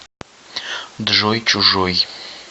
джой чужой